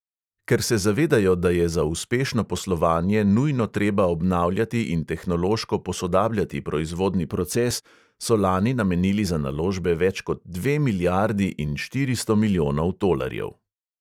Ker se zavedajo, da je za uspešno poslovanje nujno treba obnavljati in tehnološko posodabljati proizvodni proces, so lani namenili za naložbe več kot dve milijardi in štiristo milijonov tolarjev.